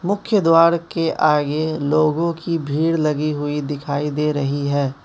मुख्य द्वार के आगे लोगों की भीड़ लगी हुई दिखाई दे रही है।